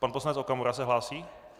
Pan poslanec Okamura se hlásí?